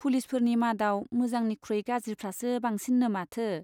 पुलिसफोरनि मादाव मोजांनिख्रुइ गाज्रिफ्रासो बांसिननो माथो ?